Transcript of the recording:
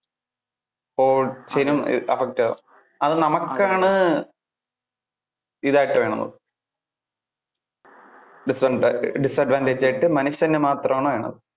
whole നും effect ആകും. അത് നമുക്ക് ആണ് ഇതായിട്ട് വരുന്നത്. disadvantage ആയിട്ട് മനുഷ്യന് മാത്രം ആണ്